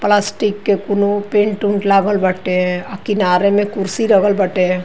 Plastic के कुनो paint उंट लागल बाटे आ किनारे मे कुर्सी रगल बाटे।